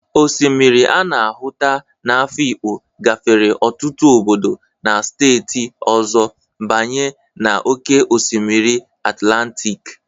Osimiri a na-ahụta n'Afikpo gafere ọtụtụ obodo na steeti ọzọ banye na oke osimiri Atlantịk